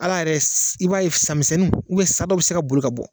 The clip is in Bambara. Hal'a yɛrɛ i b'a ye samisɛnninw, sa dɔ bɛ se ka boli ka bɔ.